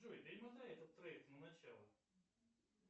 джой перемотай этот трек на начало